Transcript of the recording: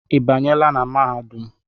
I banyela na mahadum?